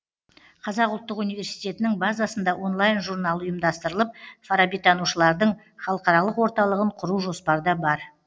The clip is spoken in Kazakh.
қазақ ұлттық университетінің базасында онлайн журнал ұйымдастырылып фарабитанушылардың халықаралық орталығын құру жоспарда бар